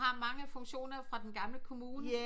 For du har mange funktioner fra den gamle kommune